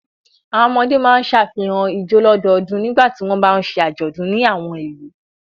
Àwọn ọmọdé máa ṣàfihàn ijó lọ́dọọdún nígbà tí wọ́n bá ń ṣe àjọ̀dún ní àwọn ìlú.